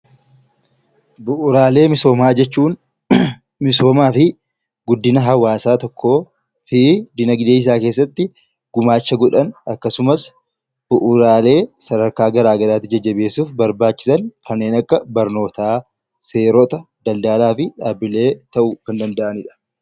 Bu'uuraalee misoomaa jechuun guddina hawaasaa tokkoo fi jireenya isaa keessatti gumaacha godhan akkasumas bu'uuraalee sadarkaa garaagaraatti jabeessuun barbaachisan kanneen akka barnootaa seerota daldalaa fi gabaa ta'uu danda'anidha.